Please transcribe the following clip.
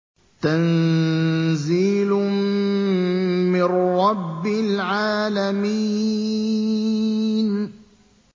تَنزِيلٌ مِّن رَّبِّ الْعَالَمِينَ